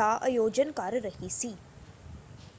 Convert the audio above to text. ਦਾ ਆਯੋਜਨ ਕਰ ਰਹੀ ਸੀ।